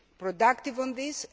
be productive on this.